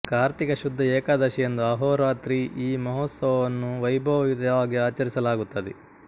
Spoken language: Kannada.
ಕಾರ್ತಿಕ ಶುದ್ಧ ಏಕಾದಶಿಯಂದು ಅಹೋರಾತ್ರಿ ಈ ಮಹೋತ್ಸವವನ್ನು ವೈಭವಯುತವಾಗಿ ಆಚರಿಸಲಾಗುತ್ತದೆ